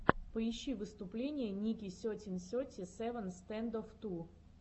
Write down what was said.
поищи выступления ники сетин сети севен стэндофф ту